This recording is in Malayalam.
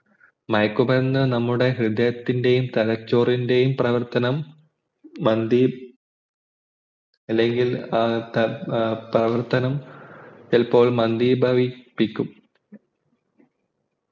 മയക്കുമരുന്ന് നമ്മുടെ ഹൃദയത്തിൻ്റെയും തലച്ചോറിൻ്റെയും പ്രവർത്തനം മന്ദീ അല്ലെങ്കിൽ ആ പ്രവർത്തനംചിലപ്പോൾ മന്ദീഭവിപ്പിക്കും